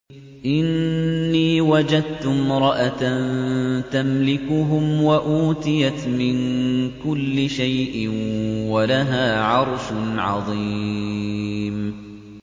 إِنِّي وَجَدتُّ امْرَأَةً تَمْلِكُهُمْ وَأُوتِيَتْ مِن كُلِّ شَيْءٍ وَلَهَا عَرْشٌ عَظِيمٌ